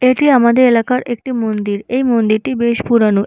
এটি আমাদের এলাকার একটি মন্দির এই মন্দিরটি বেশ পুরোনো।